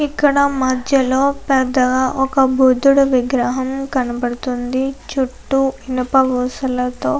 ఇక్కడా మధ్యలో పెద్ద ఒక బుద్ధుడి విగ్రహం కనబడుతోంది. చుట్టూ ఇనుప ఊసలతో--